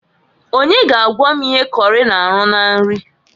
Onye ga agwa m ihe kọrị na-arụ na nri?